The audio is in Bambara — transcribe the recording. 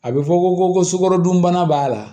A bɛ fɔ ko ko sukarodunbana b'a la